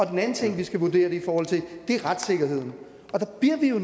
den anden ting vi skal vurdere det i forhold til er retssikkerheden og der bliver vi jo